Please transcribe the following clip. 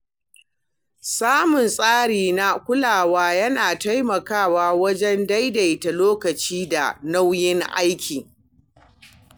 Samun tsari na kulawa yana taimakawa wajen daidaita lokaci da nauyin aiki.